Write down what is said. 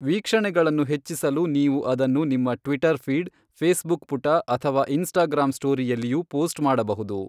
ವೀಕ್ಷಣೆಗಳನ್ನು ಹೆಚ್ಚಿಸಲು ನೀವು ಅದನ್ನು ನಿಮ್ಮ ಟ್ವಿಟರ್ ಫೀಡ್, ಫೇಸ್ಬುಕ್ ಪುಟ ಅಥವಾ ಇನ್ಸ್ಟಾಗ್ರಾಂ ಸ್ಟೋರಿಯಲ್ಲಿಯೂ ಪೋಸ್ಟ್ ಮಾಡಬಹುದು.